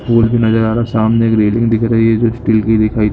फूल भी नजर आ रहा है सामने एक रेलिंग दिख रही है जो स्टील की दिखाई--